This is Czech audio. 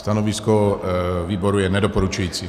Stanovisko výboru je nedoporučující.